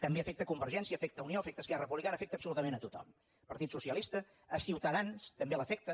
també afecta convergència afecta unió afecta esquerra republicana afecta absolutament a tothom el partit socialista a ciutadans també l’afecta